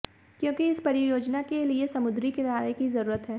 क्योंकि इस परियोजना के लिए समुद्री किनारे की जरूरत है